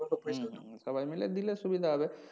হুম হুম হুম সবাই মিলে দিলে সুবিধা হবে।